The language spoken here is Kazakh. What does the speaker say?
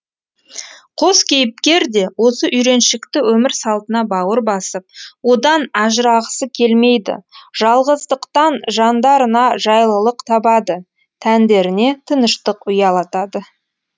қос кейіпкер де осы үйреншікті өмір салтына бауыр басып одан ажырағысы келмейді жалғыздықтан жандарына жайлылық табады тәндеріне тыныштық ұялатады